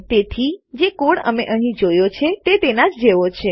તેથી જે કોડ અમે અહીં જોયો છે તે તેનાજ જેવો છે